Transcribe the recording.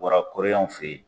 Bɔra koreyɛnw fe yen